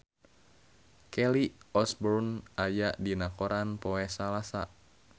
Kelly Osbourne aya dina koran poe Salasa